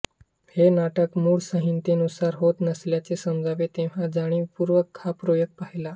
हे नाटक मूळ संहितेनुसार होत नसल्याचे समजले तेव्हा जाणीवपूर्वक हा प्रयोग पाहिला